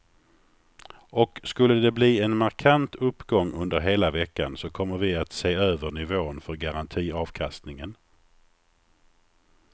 Och skulle de bli en markant uppgång under hela veckan så kommer vi att se över nivån för garantiavkastningen.